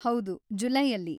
ಹೌದು, ಜುಲೈಯಲ್ಲಿ.